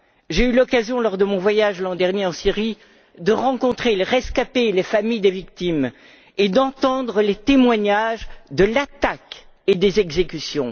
J'ai eu l'occasion, lors de mon voyage l'an dernier en Syrie, de rencontrer les rescapés et les familles des victimes et d'entendre les témoignages de l'attaque et des exécutions.